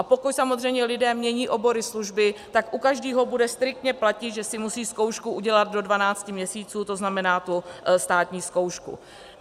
A pokud samozřejmě lidé mění obory, služby, tak u každého bude striktně platit, že si musí zkoušku udělat do 12 měsíců, to znamená tu státní zkoušku.